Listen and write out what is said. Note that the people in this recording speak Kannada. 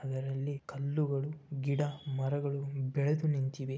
ಅದರಲ್ಲಿ ಕಲ್ಲುಗಳು ಗಿಡ ಮರಗಳು ಬೆಳೆದು ನಿಂತಿವೆ.